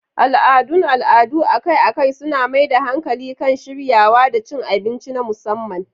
Al'adun al'adu akai-akai suna mai da hankali kan shiryawa da cin abinci na musamman.